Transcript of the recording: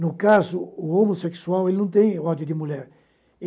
No caso, o homossexual ele não tem ódio de mulher.